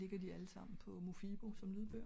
jo men måske ligger de på mofibo som lydbog?